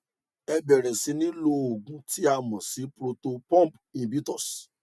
ẹ bẹrẹ sí ní lo òògùn tí a mọ sí proton pump inhibitors